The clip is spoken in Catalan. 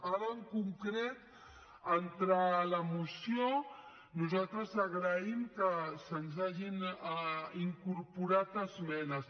ara en concret entrant a la moció nosaltres agraïm que se’ns hagin incorporat esmenes